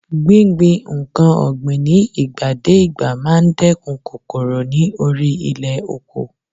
Gbíngbin nǹkan ọ̀gbìn ní ìgbà dé ìgbà máa ń dẹ́kun kòkòrò ní orí ilẹ̀ oko.